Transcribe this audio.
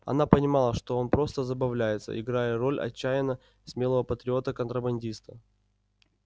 она понимала что он просто забавляется играя роль отчаянно смелого патриота-контрабандиста